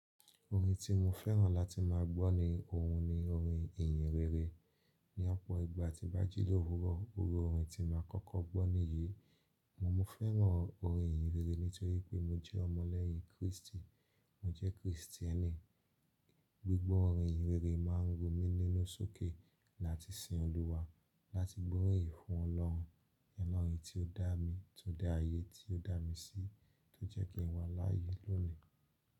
Orin tí mo fẹ́ràn láti má a gbọ́ ni ohun ni orin ìyìnrere. Ni ọ̀pọ̀ ìgbà tíi ba jì lòòwúrọ̀ o ri orin tí mo màá kọ́kọ́ gbọ́ nìyí. Mo fẹ́ràn orin ìyìnrere nítorí pé mo jẹ́ ọmọ lẹ́yìn Kristi, mo jẹ́ Kristieni. Gbigbọ́ orin ìyìnrere máa ń run mi nínú sókè láti sin Olúwa láti gbóríyìn fún Ọlọ́run. Olohon tí ó dá mi, ti o da ayé tí ó dá mi sí tó jẹ́ kí n wà láyé lónìí.